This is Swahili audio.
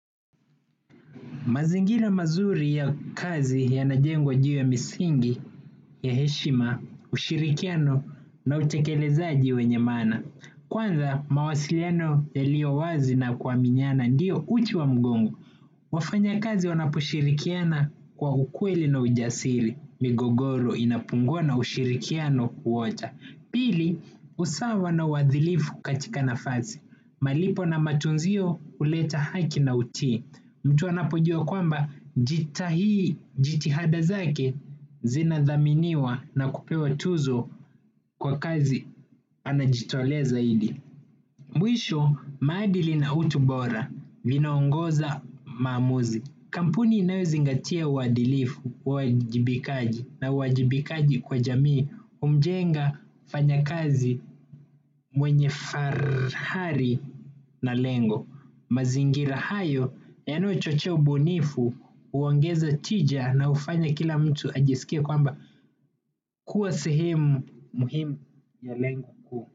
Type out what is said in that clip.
Mazingira mazuri ya kazi yanajengwa juu ya misingi ya heshima ushirikiano na utekelezaji wenye maana. Kwanza mawasiliano yalio wazi na kuaminiana ndio uti wa mgongo. Wafanyakazi wanaposhirikiana kwa ukweli na ujasiri. Migogoro inapungua na ushirikiano kuota. Pili usawa na uadhilifu katika nafasi. Malipo na matunzio huleta haki na utii. Mtu anapojua kwamba jitahidi jitihada zake zinadhaminiwa na kupewa tuzo kwa kazi anajitoa zaidi. Mwisho maadili na utubora vinaongoza maamuzi. Kampuni inayozingatia uadilifu uwajibikaji na uwajibikaji kwa jamii humjenga mfanyakazi mwenye fahari na lengo. Mazingira hayo yanayochochea ubunifu huongeza tija na hufanya kila mtu ajiskie kwamba kuwa sehemu muhimu ya lengo kuu.